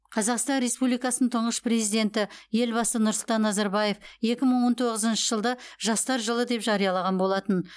қазақстан республикасының тұңғыш президенті елбасы нұрсұлтан назарбаев екі мың он тоғызыншы жылды жастар жылы деп жариялаған болатын